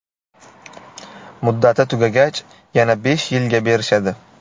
Muddati tugagach, yana besh yilga berishadi.